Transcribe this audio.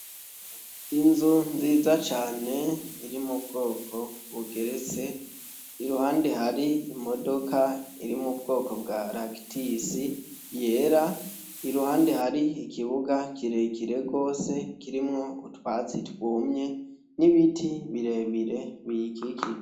Inzu nziza cane iri mu bwoko bugeretse iruhande hari imodoka iri mu bwoko bwa Ractisi yera iruhande hari ikibuga kirekire gose kirimwo utwatsi twumye n'ibiti birebire biyikikije.